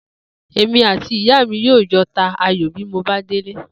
Èmi àti ìyá mi yóò jo̩ ta ayò bí mo bá délé